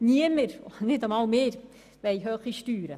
Niemand will hohe Steuern, nicht einmal wir.